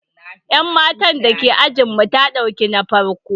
Yan matar da ke ajinmu ta dauki na farko.